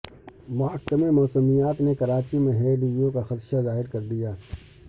محکمہ موسمیات نے کراچی میں ہیٹ ویو کا خدشہ ظاہر کردیا